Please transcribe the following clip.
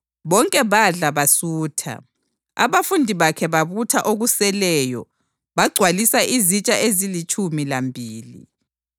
Bonke badla basutha, abafundi bakhe babutha okuseleyo bagcwalisa izitsha ezilitshumi lambili.